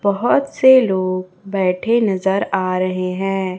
बहोत से लोग बैठे नजर आ रहे हैं।